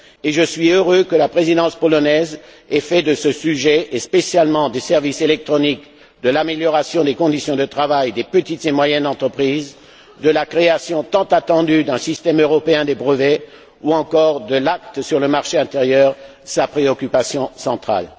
je suis heureux que la présidence polonaise ait fait de ce sujet et, spécialement, des services électroniques, de l'amélioration des conditions de travail des petites et moyennes entreprises, de la création tant attendue d'un système européen des brevets, ou encore de l'acte sur le marché intérieur, ses préoccupations centrales.